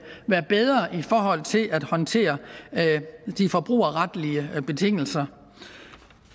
være bedre i forhold til at håndtere de forbrugerretlige betingelser